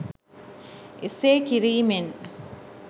එසේ කිරීමෙන්?